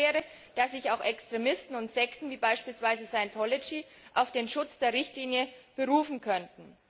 Die Folge wäre, dass sich auch Extremisten und Sekten, wie beispielsweise Scientology, auf den Schutz der Richtlinie berufen könnten.